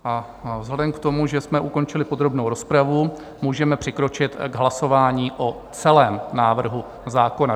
A vzhledem k tomu, že jsme ukončili podrobnou rozpravu, můžeme přikročit k hlasování o celém návrhu zákona.